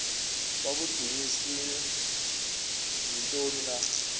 babudunjiswe yintoni na